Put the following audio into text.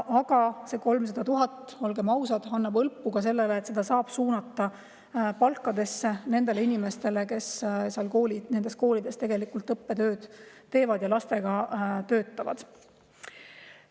Aga see 300 000, olgem ausad, annab hõlpu, seda saab suunata palkadesse, nendele inimestele, kes nendes koolides õppetööd teevad ja lastega töötavad.